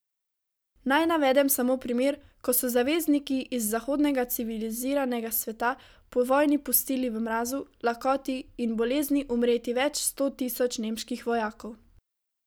Naj navedem samo primer, ko so zavezniki iz zahodnega civiliziranega sveta po vojni pustili v mrazu, lakoti in bolezni umreti več sto tisoč nemških vojakov.